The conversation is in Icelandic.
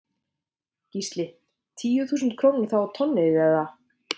Gísli: Tíu þúsund krónur þá á tonnið eða?